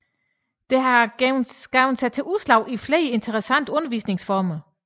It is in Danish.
Det har givet sig udslag i flere interessante undervisningsformer